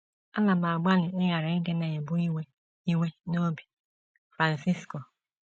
“ Ana m agbalị ịghara ịdị na - ebu iwe iwe n’obi. ” Francisco